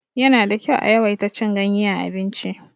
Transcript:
Yana da kyau a yawaita cin ganye a abinci.